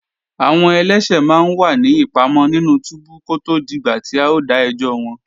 Àwọn ẹlẹ́ṣẹ̀ máa ń wà ní ìpamọ́ nínú túbú kó tó dìgbà tí a ó dá ẹjọ́ wọn